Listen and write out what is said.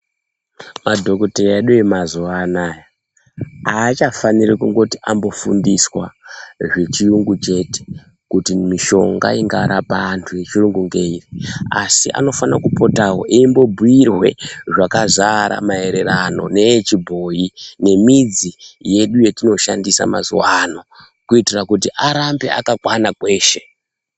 Madhokoteya edu emazuwa anaya aachafaniri kungoti andofundiswa zvechiyungu chete kuti mishonga ingarapa antu yechiyungu ngeiri. Asi anofana kupotawo eimbobhuirwe zvakazara maererano neyechibhoyi nemidzi yedu yatinoshandisa mazuwa ano. Kuitira kuti arambe akakwana kweshe.